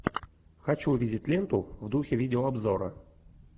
хочу увидеть ленту в духе видеообзора